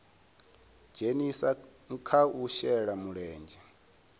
dzhenisa kha u shela mulenzhe